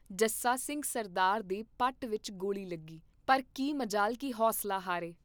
ਜੱਸਾ ਸਿੰਘ ਸਰਦਾਰ ਦੇ ਪੱਟ ਵਿਚ ਗੋਲੀ ਲਗੀ, ਪਰ ਕੀ ਮਜਾਲ ਕੀ ਹੌਸਲਾ ਹਾਰੇ।